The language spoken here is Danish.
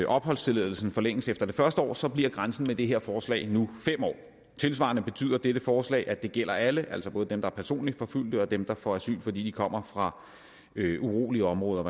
opholdstilladelsen forlænges efter det første år så bliver grænsen med det her forslag nu fem år tilsvarende betyder dette forslag at det gælder alle altså både dem der er personligt forfulgte og dem der får asyl fordi de kommer fra urolige områder